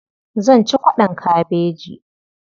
Zan ci kwaɗon kabeji.